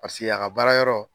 Paseke a ka baara yɔrɔ.